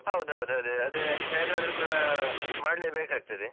ಹೌದೌದು ಅದೇ ಹೇಗಾದ್ರು ಕೂಡ ಮಾಡ್ಲೇಬೇಕ್ ಆಗ್ತದೆ.